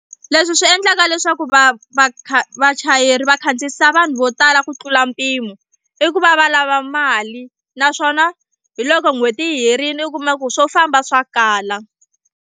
Leswi swi endlaka leswaku va va kha vachayeri va khandziyisa vanhu vo tala ku tlula mpimo i ku va va lava mali naswona hi loko n'hweti yi herile u kuma ku swo famba swa kala.